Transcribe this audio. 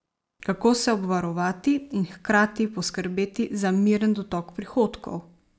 Kako se obvarovati in hkrati poskrbeti za miren dotok prihodkov?